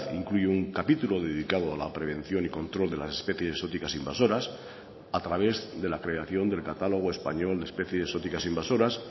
incluye un capítulo dedicado a la prevención y control de las especies exóticas invasoras a través de la creación del catálogo español de especies exóticas invasoras